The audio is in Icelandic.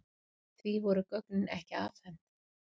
Því voru gögnin ekki afhent.